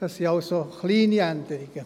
Es sind also kleine Änderungen.